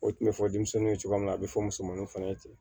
O tun bɛ fɔ denmisɛnninw ye cogoya min na a bɛ fɔ musomaninw fana ye ten